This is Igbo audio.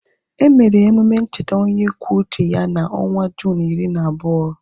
Emere emume ncheta onye kwuo uche ya na onwa Juunu iri na abụọ